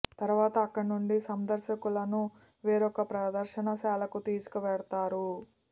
తరువాత అక్కడ నుండి సందర్శకులను వేరొక ప్రదర్శనశాలకు తీసుకు వెడతారు